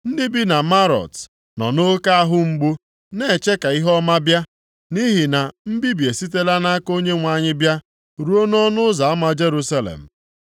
Ndị bi na Marot nọ nʼoke ahụ mgbu na-eche ka ihe ọma bịa, nʼihi na mbibi esitela nʼaka Onyenwe anyị bịa, ruo nʼọnụ ụzọ ama Jerusalem